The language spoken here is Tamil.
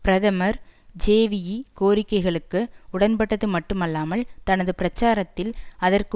பிரதமர் ஜேவிவி கோரிக்கைகளுக்கு உடன்பட்டது மட்டுமல்லாமல் தனது பிரச்சாரத்தில் அதற்கு